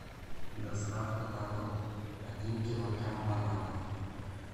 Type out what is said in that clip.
доставка на дом один килограмм бананов